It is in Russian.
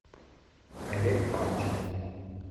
олег панчин